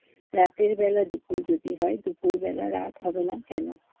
রাতেরবেলা দুপুর যদি হয় দুপুরবেলা রাত হবে না কেনো?